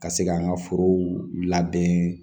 Ka se ka an ka forow labɛn